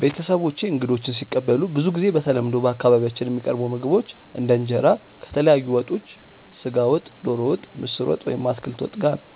ቤተሰቦቼ እንግዶችን ሲቀበሉ ብዙ ጊዜ በተለምዶ በአካባቢያችን የሚቀርቡ ምግቦች እንደ እንጀራ ከተለያዩ ወጦች (ስጋ ወጥ፣ ዶሮ ወጥ፣ ምስር ወጥ ወይም አትክልት ወጥ) ጋር ነው።